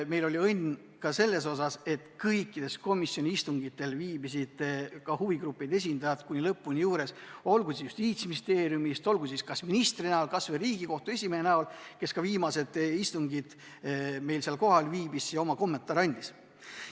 Meil oli õnne ka selles mõttes, et kõikidel komisjoni istungitel viibisid huvigruppide esindajad kuni lõpuni juures, olgu nad Justiitsministeeriumist, olgu kas või minister või Riigikohtu esimees, kes ka viimastel istungitel kohal viibis ja oma kommentaare andis.